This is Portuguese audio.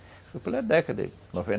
Foi pela década de noventa,